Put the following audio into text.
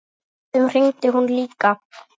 Stundum hringdi hún líka.